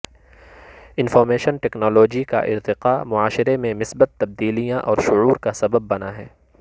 information technology کا ارتقاء معاشرے میں مثبت تبدیلیاں اور شعور کا سبب بنا ہے